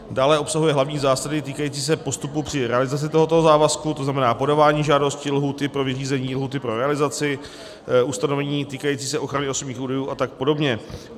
Dále obsahuje hlavní zásady týkající se postupu při realizaci tohoto závazku, to znamená podávání žádosti, lhůty pro vyřízení, lhůty pro realizaci, ustanovení týkající se ochrany osobních údajů a tak podobně.